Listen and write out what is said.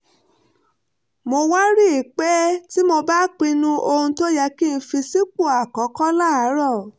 mo wá rí i pé tí mo bá ń pinnu ohun tó yẹ kí n fi sípò àkọ́kọ́ láàárọ̀